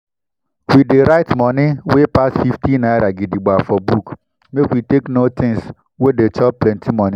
we dey write moni wey pass fifty naira gidigba for book make we take know things wey dey chop plenti moni.